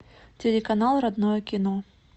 телеканал родное кино